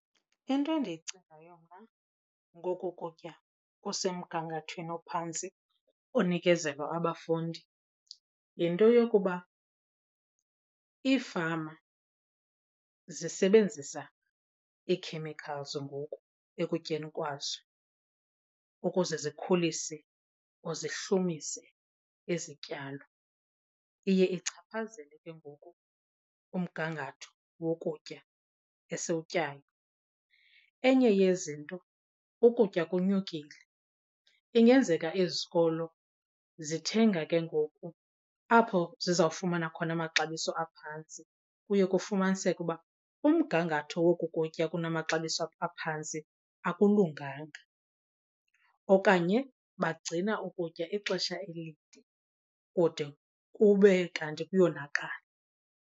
Into endiyicingayo mna ngoku kutya kusemgangathweni ophantsi onikezelwa abafundi yinto yokuba iifama zisebenzisa nge ii-chemicals ngoku ekutyeni kwazo ukuze zikhulise or zihlumise izityalo. Iye ichaphazele ke ngoku umgangatho wokutya esiwutyayo. Enye yezinto ukutya konyukile, ingenzeka izikolo zithenga ke ngoku apho zizawufumana khona amaxabiso aphantsi. Kuye kufumaniseke uba umgangatho woku kutya kunamaxabiso aphantsi akulunganga okanye bagcina ukutya ixesha elide kude kube kanti kuyonakala.